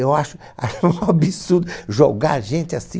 Eu acho um absurdo jogar a gente assim.